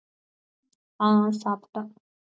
ஆஹ் சாப்பிட்டேன்.